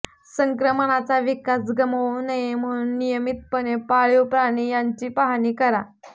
संक्रमणाचा विकास गमावू नये म्हणून नियमितपणे पाळीव प्राणी यांची पाहणी करा